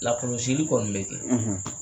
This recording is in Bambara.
Lakɔlɔsili kɔni bɛ kɛ